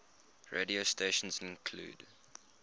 radio stations include